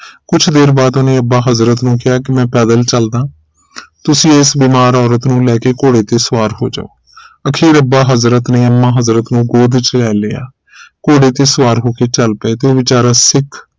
ਕੁਝ ਦੇਰ ਬਾਰ ਉਹਨੇ ਅੱਬਾ ਹਜ਼ਰਤ ਨੂੰ ਕਿਹਾ ਮੈਂ ਪੈਦਲ ਚਲਦਾ ਤੁਸੀਂ ਇਸ ਬੀਮਾਰ ਔਰਤ ਨੂੰ ਲੈਕੇ ਘੋੜੇ ਤੇ ਸਵਾਰ ਹੋ ਜਾਓ ਅਖੀਰ ਅੱਬਾ ਹਜ਼ਰਤ ਨੇ ਅੰਮਾ ਹਜ਼ਰਤ ਨੂੰ ਗੋਦ ਵਿਚ ਲੈ ਲਿਆ ਘੋੜੇ ਤੇ ਸਵਾਰ ਹੋਕੇ ਚਾਲ ਪਏ ਤੇ ਉਹ ਵਿਚਾਰਾ ਸਿੱਖ